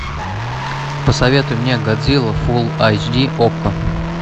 посоветуй мне годзилла фул айч ди окко